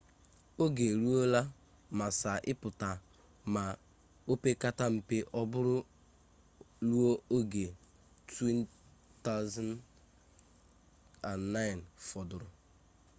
oge e ruola massa ịpụta ma opekata mpe ọ bụrụ ruo oge 2009 fọdụrụ